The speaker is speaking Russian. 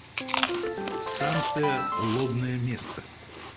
станция лобное место